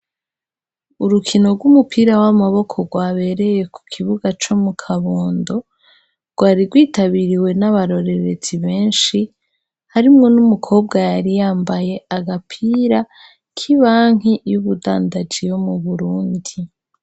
Urukino rw'umupira w'amaboko rwabereye ku kibuga co mu kabondo rwari rwitabiriwe n'abarorerezi benshi harimwo n'umukobwa yari yambaye agapira k'ibanki y'ubudandanji yo mu Burundi.